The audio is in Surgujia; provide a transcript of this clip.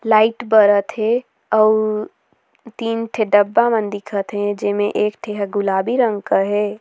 लाइट बरत हे अउ तीन ठे डब्बा मन दिखत हे जेमे एक ठी हा गुलाबी रंग क हे।